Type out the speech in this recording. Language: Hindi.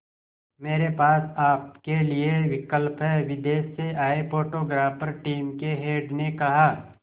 मेरे पास आपके लिए विकल्प है विदेश से आए फोटोग्राफर टीम के हेड ने कहा